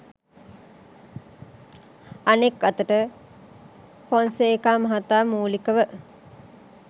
අනෙක් අතට ෆොන්සේකා මහතා මූලිකව